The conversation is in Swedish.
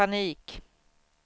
panik